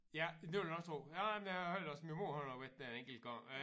Ja det vil jeg også tro jamen jeg hørte også min mor hun har været der en enkelt gang øh